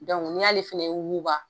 n'i y'ale fana wuguba.